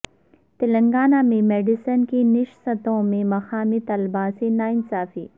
تلنگانہ میں میڈیسن کی نشستوں میں مقامی طلبہ سے ناانصافی